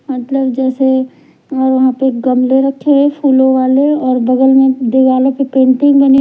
मतलब जैसे एक गमले रखे हैं फूलों वाले और बगल में दिवालों पे पेंटिंग बनी--